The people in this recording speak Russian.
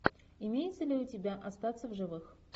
имеется ли у тебя остаться в живых